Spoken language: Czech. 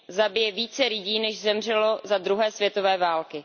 zabije více lidí, než zemřelo za druhé světové války.